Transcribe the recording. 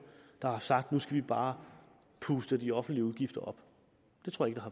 der har sagt at nu skal vi bare puste de offentlige udgifter op det tror jeg